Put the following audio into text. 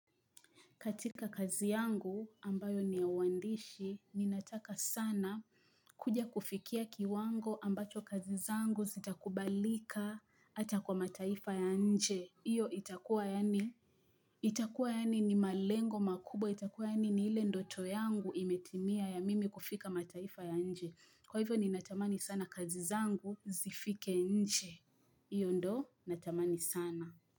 Katika kazi yangu ambayo ni uandishi, ninataka sana kuja kufikia kiwango ambacho kazi zangu zitakubalika hata kwa mataifa ya nje. Hiyo itakua yani, itakua yani ni malengo makubwa, itakua yani ni ile ndoto yangu imetimia ya mimi kufika mataifa ya nje. Kwahivyo ninatamani sana kazi zangu zifike nje. Iyo ndo, natamani sana.